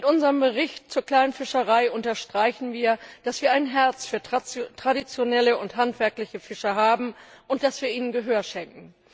Mit unserem Bericht zur kleinen Fischerei unterstreichen wir, dass wir ein Herz für traditionelle und handwerkliche Fischer haben und dass wir ihnen Gehör schenken.